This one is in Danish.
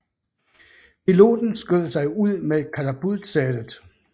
Piloten skød sig ud med katapultsædet